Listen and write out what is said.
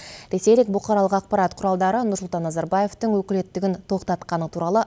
ресейлік бұқаралық ақпарат құралдары нұрсұлтан назарбаевтың өкілеттігін тоқтатқаны туралы